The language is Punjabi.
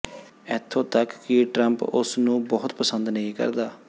ਇਥੋਂ ਤੱਕ ਕਿ ਟ੍ਰਾਂਪ ਉਸ ਨੂੰ ਬਹੁਤ ਪਸੰਦ ਨਹੀਂ ਕਰਦਾ